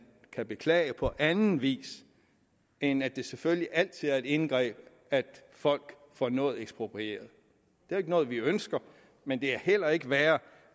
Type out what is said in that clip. kan beklage på anden vis end at det selvfølgelig altid er et indgreb når folk får noget eksproprieret det er ikke noget vi ønsker men det er heller ikke værre